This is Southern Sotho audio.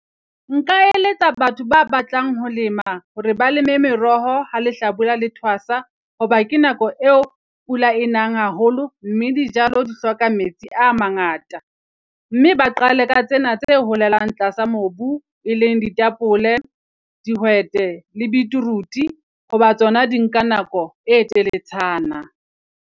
Nka eletsa batho ba batlang ho lema hore ba leme meroho ha lehlabula le twasa. Hoba ke nako e o pula e nang haholo, mme dijalo di hloka metsi a mangata, mme ba qale ka tsena tse holelang tlasa mobu, e leng ditapole dihwete, le beetroot-e ho ba tsona di nka nako e teletshana.